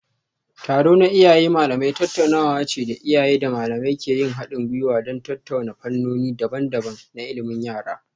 Taro na Iyaye Malamai tattaunawa ce da iyaye da malamai ke yin hadin gwiwa don tattauna fannoni daban-daban na ilimin yara.